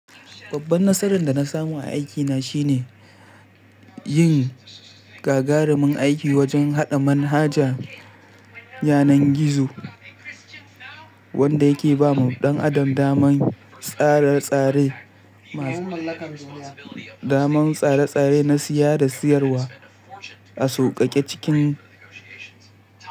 Babban nasarar da na samu a aikina shine yin gagarumin aiki wajen haɗa manhaja yanar gizo wanda yake ba wa ɗan adam damar tsare-tsare masu, damar tsare-tsare nasiya da siyarwa a sauƙaƙe cikin.